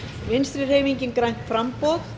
vinstri hreyfingin grænt framboð